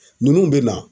Ninnu bɛ na